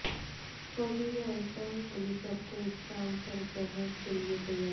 وزیراعظم helicopter scam پر بحث کے لیے تیار